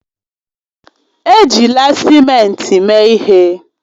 Ejila simenti mee ihe